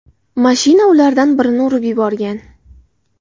Mashina ulardan birini urib yuborgan.